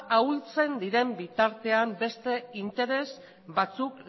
ahultzen diren bitartean beste interes batzuk